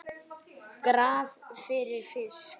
Graf fyrir fisk.